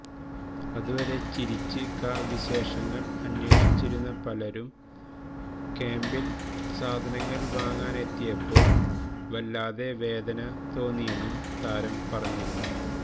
അതുവരെ ചിരിച്ച് ക വിശേഷങ്ങള് അന്വേഷിച്ചിരുന്ന പലരും ക്യാംപില് സാധനങ്ങള് വാങ്ങാനെത്തിയപ്പോള് വല്ലാതെ വേദന തോന്നിയെന്നും താരം പറഞ്ഞിരുന്നു